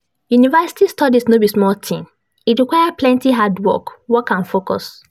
University studies no be small tin, e require plenty hard work work and focus